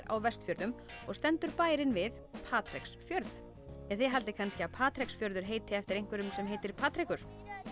á Vestfjörðum og stendur bærinn við Patreksfjörð þið haldið kannski að Patreks fjörður heiti eftir einhverjum sem heitir Patrekur